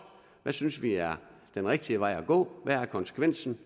hvad synes vi er den rigtige vej at gå hvad er konsekvensen